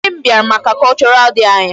Nne m bịara maka cultural day anyị.